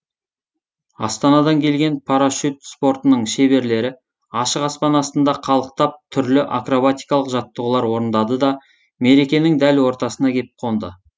астанадан келген парашют спортының шеберлері ашық аспан астында қалықтап түрлі акробатикалық жаттығулар орындады да мерекенің дәл ортасына кеп қонды